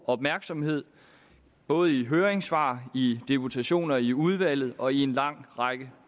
opmærksomhed både i høringssvar i deputationer i udvalget og i en lang række